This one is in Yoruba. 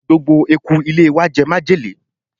gbogbo eku ilé wa jẹ májèlé